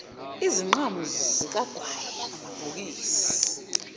izinqamu zikagwayi amabhokisi